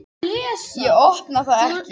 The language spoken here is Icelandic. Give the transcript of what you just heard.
Ég opna það ekki.